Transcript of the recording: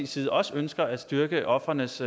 side også ønsker at styrke ofrenes